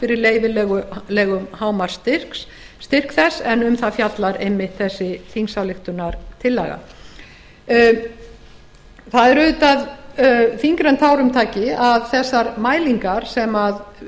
fyrir leyfilegum hámark styrks þess en um það fjallar einmitt þessi þingsályktunartillaga það er auðvitað þyngra en tárum taki að þessar mælingar sem